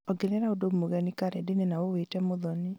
ongerera ũndũ mũgeni karenda-inĩ na ũwĩĩte mũthoni